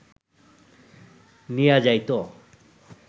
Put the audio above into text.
নিয়া যাইত